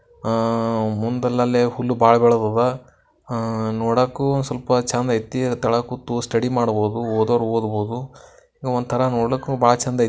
ಆ-ಮುಂದಲೆಲ್ಲೆ ಹುಲ್ಲ್ ಬಾಳಾ ಬೆಳದಾದಾ ಆ-ನೋಡಾಕ್ಕೂ ಸ್ವಲ್ಪ್ ಚಂದ್ ಐತಿ. ಅದರ್ ತಳಾಗ್ ಕೂತು ಸ್ಟಡಿ ಮಾಡ್ಬೋದು ಓದೋರು ಒದ್ಬೋದು ಒಂತರ ನೋಡ್ಲಕ್ಕು ಬಾಳಾ ಚಂದ್ ಐತಿ.